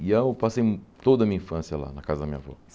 E aí eu passei toda a minha infância lá, na casa da minha avó.